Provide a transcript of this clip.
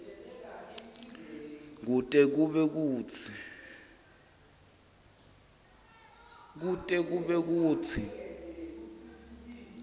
kute kube kutsi